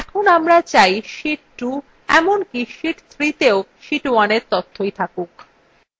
এখন আমরা চাই sheet 2 এমনকি sheet 3তেও sheet 2 তথ্যই দেখাক